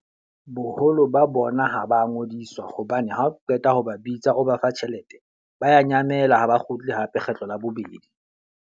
Boholo ba bona ha ba ngodiswa hobane ha o qeta ho ba bitsa o ba fa tjhelete, ba ya nyamela ha ba kgutli hape kgetlo la bobedi.